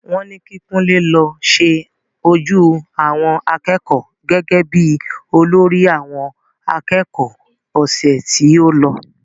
Wọ́n ní kí Kunle lọ ṣe ojú àwọn akẹ́kọ̀ọ́ gẹ́gẹ́ bí olórí àwọn akẹ́kọ̀ọ́ ọ̀sẹ̀ tí o lọ